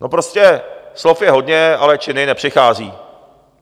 No, prostě slov je hodně, ale činy nepřicházejí.